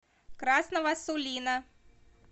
красного сулина